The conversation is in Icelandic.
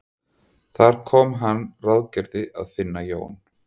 Þar kom að hann ráðgerði að finna Jón